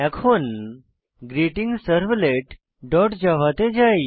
এখন greetingservletজাভা তে যাই